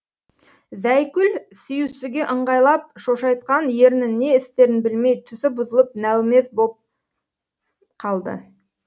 зайкүл сүйісуге ыңғайлап шошайтқан ернін не істерін білмей түсі бұзылып нәумез боп қалды